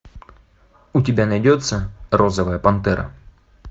у тебя найдется розовая пантера